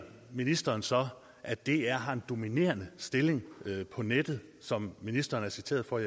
ministeren så at dr har en dominerende stilling på nettet som ministeren er citeret for